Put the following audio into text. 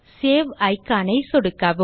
save icon ஐ சொடுக்கவும்